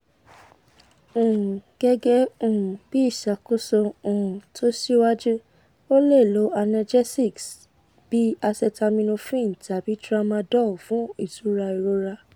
um gege um bi isakoso um to siwaju o le lo analgesics bi acetaminophen tabi tramadol fun itura irora